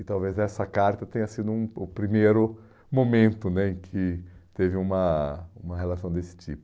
E talvez essa carta tenha sido hum o primeiro momento né em que teve uma uma relação desse tipo.